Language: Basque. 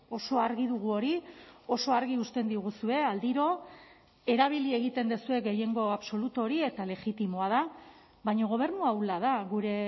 oso argi dugu hori oso argi uzten diguzue aldiro erabili egiten duzue gehiengo absolutu hori eta legitimoa da baina gobernu ahula da gure